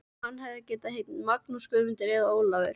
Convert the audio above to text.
Hann gæti heitið Magnús, Guðmundur eða Ólafur.